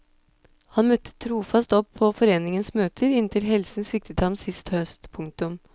Han møtte trofast opp på foreningens møter inntil helsen sviktet ham sist høst. punktum